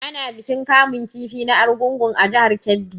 Ana bikin kamun kifi na Argungu a jihar Kebbi.